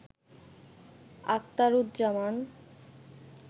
Akhtaruzzaman